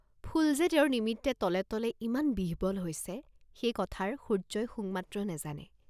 ফুল যে তেওঁৰ নিমিত্তে তলে তলে ইমান বিহ্বল হৈছিল, সেই কথাৰ সূৰ্য্যই শুং মাত্ৰ নেজানে।